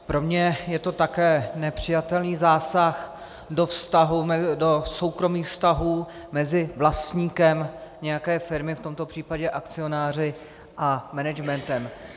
Pro mě je to také nepřijatelný zásah do soukromých vztahů mezi vlastníkem nějaké firmy, v tomto případě akcionáři, a managementem.